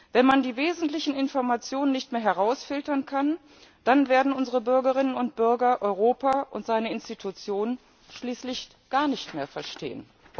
Wenn man die wesentlichen Informationen nicht mehr herausfiltern kann, dann werden unsere Bürgerinnen und Bürger Europa und seine Institutionen schließlich gar nicht mehr verstehen.